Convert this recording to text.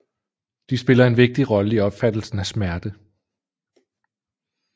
De spiller en vigtig rolle i opfattelsen af smerte